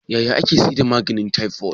yaya ake sayar da maganin taifot